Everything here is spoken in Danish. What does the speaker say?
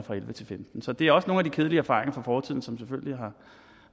femten så det er også nogle af de kedelige erfaringer fra fortiden som selvfølgelig